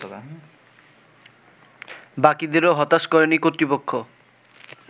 বাকীদেরও হতাশ করেনি কর্তৃপক্ষ